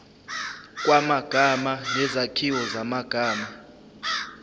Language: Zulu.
kwamagama nezakhiwo zamagama